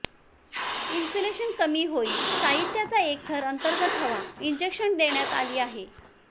insulation कमी होईल साहित्याचा एक थर अंतर्गत हवा इंजेक्शन देण्यात आली आहे